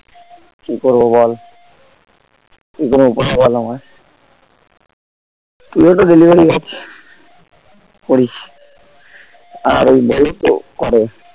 কি করবো বল কোনো উপায় বল আমায় তুই ও তো delivery করছিস করিস আর ওই বলো তো করে